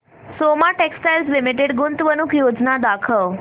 Soma textile limited गुंतवणूक योजना दाखव